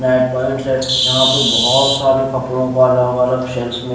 left point से यहां पे बहोत सारा कपड़ों का अलग अलग शेल्फ में--